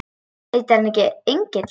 Heitir hann ekki Engill?